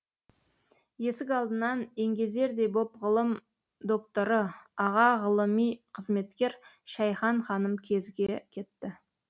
есік алдынан еңгезердей боп ғылым докторы аға ғылыми қызметкер шәйхан ханым кезіге кетті